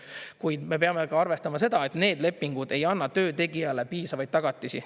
Kuid me peame ka arvestama seda, et need lepingud ei anna töötegijale piisavaid tagatisi.